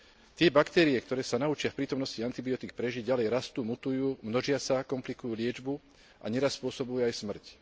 Tie baktérie, ktoré sa naučia v prítomnosti antibiotík prežiť, ďalej rastú, mutujú, množia sa a komplikujú liečbu a neraz spôsobujú aj smrť.